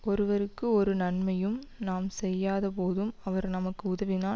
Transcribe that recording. ஒருவருக்கு ஒரு நன்மையும் நாம் செய்யாத போதும் அவர் நமக்கு உதவினால்